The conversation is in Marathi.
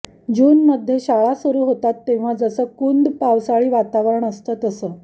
जूनमधे शाळा सुरु होतात तेव्हा जसं कुंद पावसाळी वातावरण असतं तसं